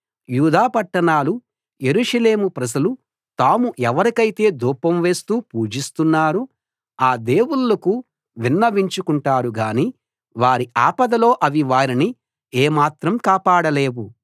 యూదా పట్టణాలు యెరూషలేము ప్రజలు తాము ఎవరికైతే ధూపం వేస్తూ పూజిస్తున్నారో ఆ దేవుళ్ళకు విన్నవించుకుంటారుగానీ వారి ఆపదలో అవి వారిని ఏమాత్రం కాపాడలేవు